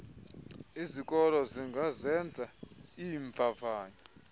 izikolo zingazenza iimvavanyo